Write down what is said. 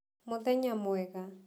Mũthenya mwega.